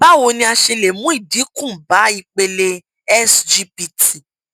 báwo ni a ṣe lè mú ìdínkù bá ipele sgpt